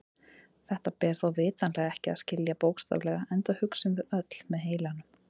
Þetta ber þó vitanlega ekki að skilja bókstaflega enda hugsum við öll með heilanum.